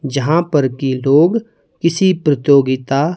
जहाँ पर कि लोग किसी प्रतियोगिता--